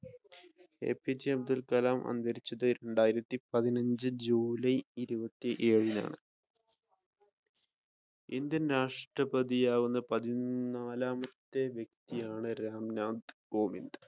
APJ Abdul Kalam അന്തരിച്ചത് രണ്ടായിരത്തി പതിനഞ്ച് ജൂലൈ ഇരുപത്തിഏഴിനാണ്. ഇന്ത്യൻ രാഷ്ട്രപ്രതി ആകുന്ന പതിനാലാമത്തെ വ്യക്തിയാണ് റാം നാഥ് കോവിന്ദ്.